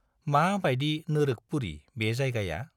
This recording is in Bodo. मा बाइदि नोरोखपुरी बे जायगाया!